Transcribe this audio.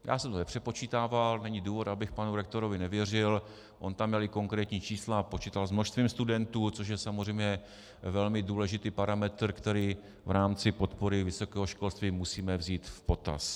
Já jsem to nepřepočítával, není důvod, abych panu rektorovi nevěřil, on tam měl i konkrétní čísla a počítal s množstvím studentů, což je samozřejmě velmi důležitý parametr, který v rámci podpory vysokého školství musíme vzít v potaz.